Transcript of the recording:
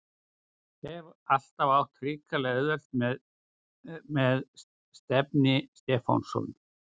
Hef alltaf átt hrikalega auðvelt með Stefni Stefánsson.